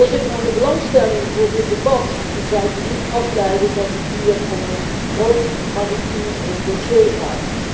Uit de belangstelling voor dit debat zou je niet afleiden dat het hier om een groot maritiem dossier gaat.